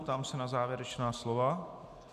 Ptám se na závěrečná slova.